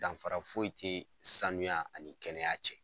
Danfara foyi tɛ sanuya ani kɛnɛya cɛ.